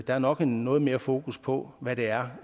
er nok noget mere fokus på hvad det er